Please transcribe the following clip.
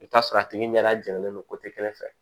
I bɛ t'a sɔrɔ a tigi ɲɛ da gɛlɛnlen don kelen fɛ